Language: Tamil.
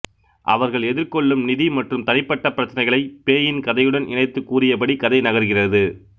அவர்கள் எதிர்கொள்ளும் நிதி மற்றும் தனிப்பட்ட பிரச்சினைகளை பேயின் கதையுடன் இணைத்து கூறியபடி கதை நகர்கிறது